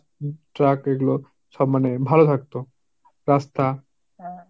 truck এগুলো সব মানে ভালো থাকতো, রাস্তা ।